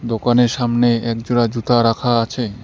দোকানের সামনে একজোড়া জুতা রাখা আছে।